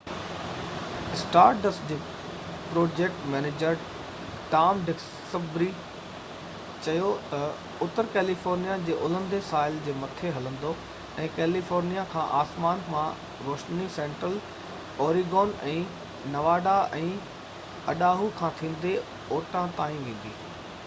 star dust جي project manager Tom Duxbury چيو تہ، اتر ڪيليفورنيا جي الهندي ساحل جي مٿي هلندو ۽ ڪيليفورنيا کان آسمان مان روشني سينٽرل اوريگون ۽ نواڊا ۽ اڊاهو کان ٿيندي اوٺا تائين ويندي